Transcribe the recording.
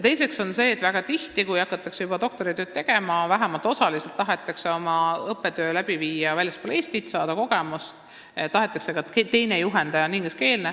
Teiseks, väga tihti, kui hakatakse doktoritööd tegema, siis vähemalt osaliselt tahetakse õppida väljaspool Eestit ja saada kogemust ning tahetakse, et teine juhendaja oleks ingliskeelne.